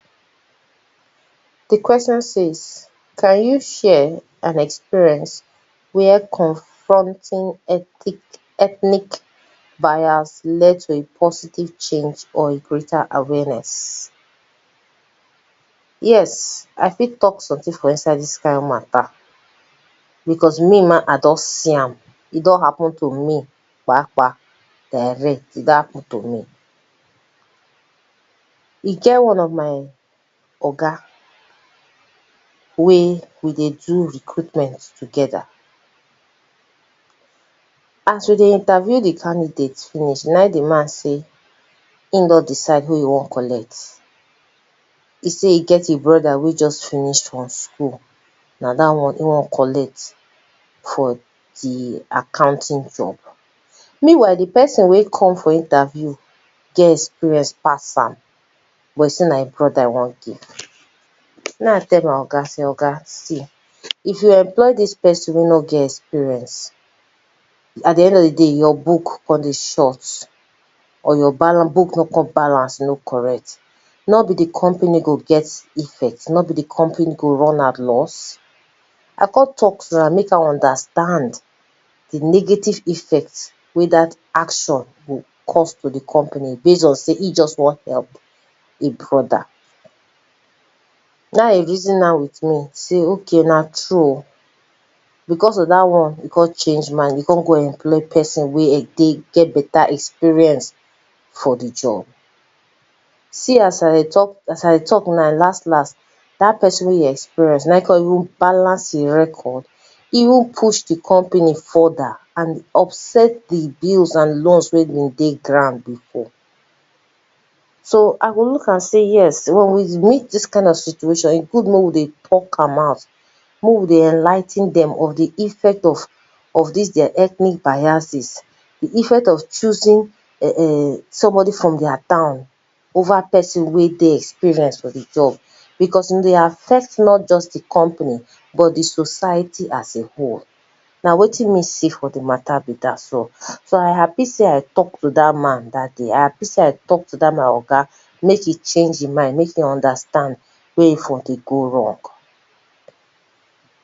Di question says, can you share an experience where confronting ethic ethnic bias led to a positive change or a greater awareness? Yes I fit talk something for inside dis kind matter because me ma, I don see am e don happen to me kpakpa, direct e don happen to me. E get one of my Oga wey we dey do recruitment together, as we dey interview di candidate finish na im di man talk sey im don decide who e wan collect, e sey e get im brother wey just finish for school na dat one e wan collect for di accounting job. Meanwhile di person wey come for di interview get experience pass a, but e sey na im brother e wan give, na im I tell my oga sey, oga see if you employ dis person wey no get experience at di end of di day your book come dey short, or you no get your book no get balance no correct, no be di company go get effect nor be di company go run at loss? I come talk to am make am understand di negative effect wey dat action go cause di company based on sey, e wan just help im brother na im e reason am with me sey okay na true oh, because of dat one e come change mind e come go employ person wey dey get better experience for di job, see as I dey talk as I dey t alk now las las dat person wey im experience na im come even balance im record, even push di company further and upset di bills and law wey been dey ground before. So I go look am sey yes, if we meet dis kind of situation, e good make we dey talk am out make we dey enligh ten dem of of di effect of dis their ethnic biases, di effect of choosing somebody from their town over somebody wey dey experienced for di job. Because e dey affect not just di company but di society as a whole, na wetin me see for di matter be dat one, so I happy sey I talk to dat man dat day, I happy sey I talk to dat my oga, make im change im mind make im understand where im for dey go wrong.